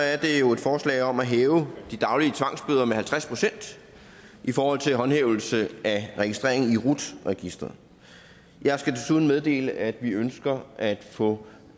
er det jo et forslag om at hæve de daglige tvangsbøder med halvtreds procent i forhold til håndhævelse af registrering i rut registeret jeg skal desuden meddele at vi ønsker at få